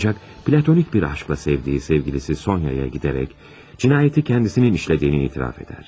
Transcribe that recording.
Ancaq platonik bir aşkla sevdiyi sevgilisi Sonya'ya gedərək, cinayəti özünün işlədiyini etiraf edər.